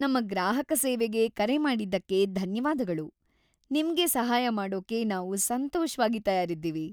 ನಮ್ಮ ಗ್ರಾಹಕ ಸೇವೆಗೆ ಕರೆ ಮಾಡಿದ್ದಕ್ಕೆ ಧನ್ಯವಾದಗಳು. ನಿಮ್ಗೆ ಸಹಾಯ ಮಾಡೋಕೆ ನಾವು ಸಂತೋಷವಾಗ ತಯಾರಿದ್ದೀವಿ.